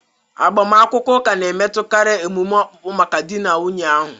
Agbamakwụkwọ ụka na-emetụtakarị emume okpukpe maka di na nwunye ahụ..